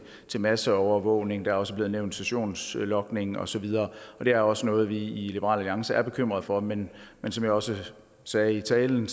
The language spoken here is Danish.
til masseovervågning der er også blevet nævnt sessionslogning og så videre det er også noget vi i liberal alliance er bekymret for men som jeg også sagde i talen